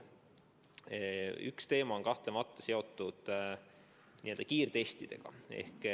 Üks teema on kahtlemata seotud kiirtestidega.